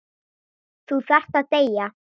Þú þarft að deyja.